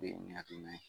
hakilina ye